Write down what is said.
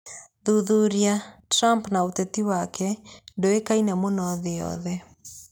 Thuthuria: Trump na ũteti wake ndũĩkaine mũno thĩ yothe